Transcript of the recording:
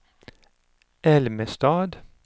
Älmestad